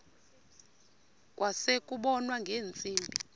kwase kubonwa ngeentsimbi